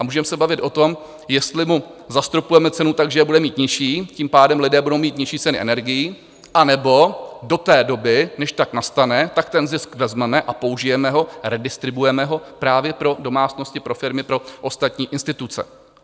A můžeme se bavit o tom, jestli mu zastropujeme cenu tak, že je bude mít nižší, tím pádem lidé budou mít nižší ceny energií, anebo do té doby, než tak nastane, tak ten zisk vezmeme a použijeme ho, redistribuujeme ho právě pro domácnosti, pro firmy, pro ostatní instituce.